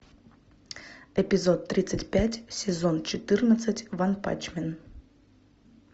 эпизод тридцать пять сезон четырнадцать ванпанчмен